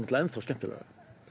enn þá skemmtilegra